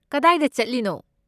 ꯀꯗꯥꯏꯗ ꯆꯠꯂꯤꯅꯣ?